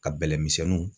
Ka bɛlɛmisɛnninw